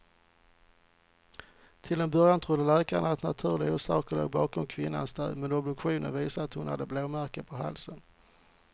Till en början trodde läkarna att naturliga orsaker låg bakom kvinnans död, men obduktionen visade att hon hade blåmärken på halsen.